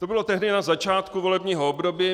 To bylo tehdy, na začátku volebního období.